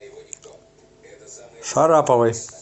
шараповой